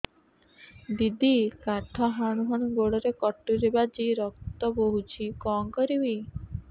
ଦିଦି କାଠ ହାଣୁ ହାଣୁ ଗୋଡରେ କଟୁରୀ ବାଜି ରକ୍ତ ବୋହୁଛି କଣ କରିବି